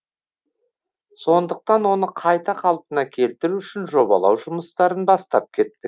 сондықтан оны қайта қалпына келтіру үшін жобалау жұмыстарын бастап кеттік